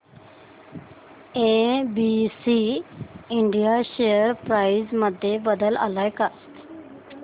ABC India share price मध्ये बदल आलाय का